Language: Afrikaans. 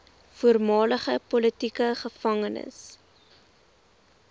voormalige politieke gevangenes